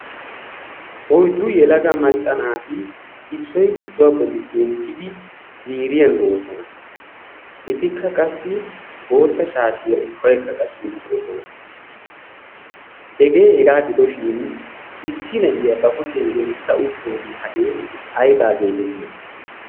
oyddu yelaga macca naati issoy issuwaa bolli zemppiidi ziiriyan doosona. etikka qassi bootta shaashiya ubbaykka qaci uttidosona. hegee hegaa gidoshin issi na'iyaa ba kushiyan gelissa utoogee hagee aybaa geetettii?